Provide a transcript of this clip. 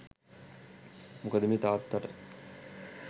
මොකද මේ තාත්තට